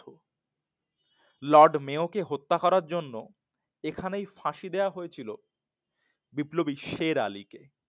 Lord Mayo কে হত্যা করার জন্য এখানেই ফাঁসি দেওয়া হয়েছিল বিপ্লবী শের আলীকে